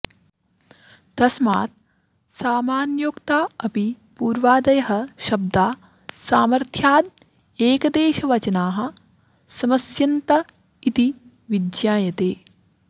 तस्मात् सामान्योक्ता अपि पूर्वादयः शब्दा सामथ्र्यादेकदेशवचनाः समस्यन्त इति विज्ञायते